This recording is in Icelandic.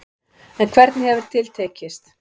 En hvernig hefur til tekist.